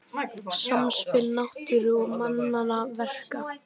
Samspil náttúru og mannanna verka